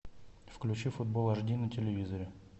включи футбол аш ди на телевизоре